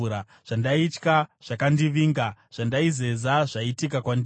Zvandaitya zvakandivinga; zvandaizeza zvaitika kwandiri.